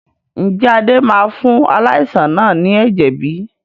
Ǹjẹ́ Adé máa fún aláìsàn náà ni ẹ̀jẹ̀ bí?